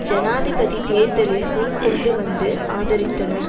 ஜனாதிபதி தேர்தலில் முன் கொண்டு வந்து ஆதரித்தன